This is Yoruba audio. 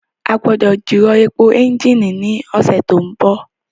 A gbọ́dọ̀ jìrọ̀ èpò ẹ́ńjìnì ní ọ̀sẹ̀ tó ń bọ̀